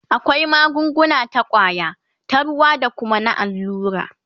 akwai magunguna ta kwaya, ta ruwa da Kuma na allura